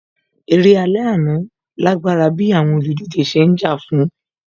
Eré alẹ́ àná lágbára bíi àwọn olùdíje ṣe ń jà fún ìborí